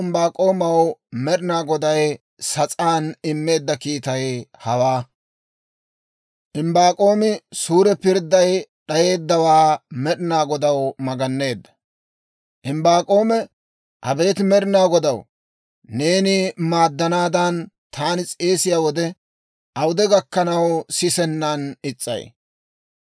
Imbbaak'oome, «Abeet Med'ina Godaw, neeni maaddanaadan taani s'eesiyaa wode, awude gakkanaw sisennan is's'ay? K'ay taani makkalaw new waassiyaa wode, awude gakkanaw ashshenan is's'ay?